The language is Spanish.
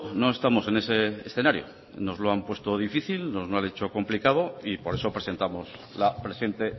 no estamos en ese escenario nos lo han puesto difícil nos lo han hecho complicado y por eso presentamos la presente